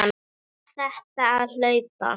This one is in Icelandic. EKKERT Á ÞÉR AÐ HALDA!